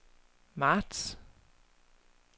marts